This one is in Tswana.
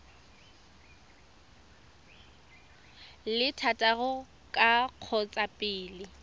le thataro ka kgotsa pele